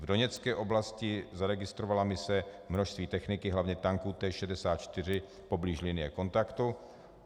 V Doněcké oblasti zaregistrovala mise množství techniky, hlavně tanků T64 poblíž linie kontaktu.